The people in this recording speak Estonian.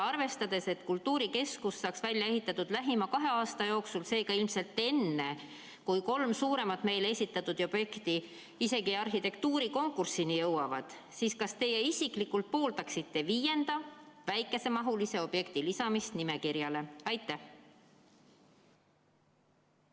Arvestades, et kultuurikeskus saaks välja ehitatud lähima kahe aasta jooksul, seega ilmselt enne, kui kolm suuremat meile esitatud objekti isegi arhitektuurikonkursini jõuavad, kas teie isiklikult pooldaksite viienda, väikesemahulise objekti lisamist nimekirja?